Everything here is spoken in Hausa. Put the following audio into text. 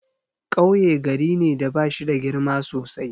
Kauye gari ne da bashida girma sosai.